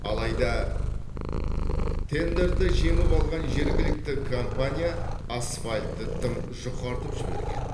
алайда тендерді жеңіп алған жергілікті компания асфальтты тым жұқартып жіберген